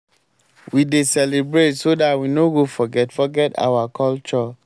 we dey celebrate so dar we know go forget forget our culture.